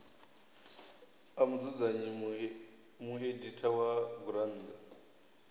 a mudzudzanyi mueditha wa gurannḓa